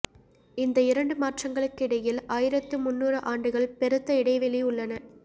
இந்த இரண்டு மாற்றங்களுக்கிடையில் ஆயிரத்து முன்னூறு ஆண்டுகள் பெருத்த இடைவெளி உள்ளன